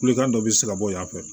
Kulikan dɔ be se ka bɔ yan fɛ